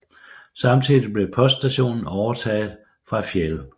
Samtidig blev poststationen overtaget fra Fjäl